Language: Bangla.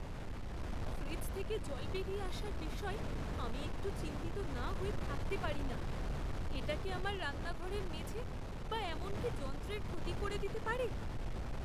ফ্রিজ থেকে জল বেরিয়ে আসার বিষয়ে আমি একটু চিন্তিত না হয়ে থাকতে পারি না এটা কি আমার রান্নাঘরের মেঝে বা এমনকি যন্ত্রের ক্ষতি করে দিতে পারে ?